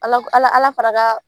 Ala Ala Ala fara la